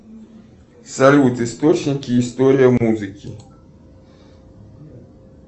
салют источники истории музыки